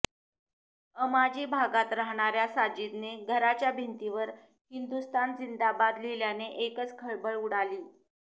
अमाजी भागात राहणाऱ्या साजिदने घराच्या भिंतीवर हिंदुस्थान जिंदाबाद लिहल्याने एकच खळबळ उडाली